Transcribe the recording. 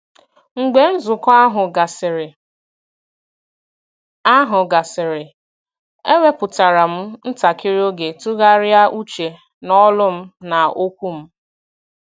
Mgbe nzukọ ahụ gasịrị, ahụ gasịrị, ewepụtara m ntakịrị oge tụgharịa uche n’olu m na okwu m.